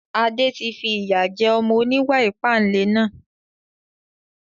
Adé tí fi ìyà jẹ ọmọ oníwà ìpánle náà